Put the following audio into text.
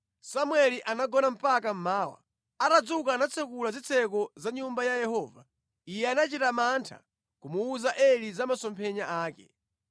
Samueli anagona mpaka mmawa. Atadzuka anatsekula zitseko za Nyumba ya Yehova. Iye anachita mantha kumuwuza Eli za masomphenya ake.